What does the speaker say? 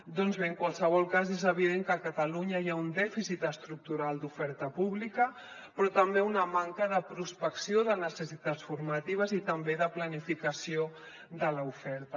doncs bé en qualsevol cas és evident que a catalunya hi ha un dèficit estructural d’oferta pública però també una manca de prospecció de necessitats formatives i també de planificació de l’oferta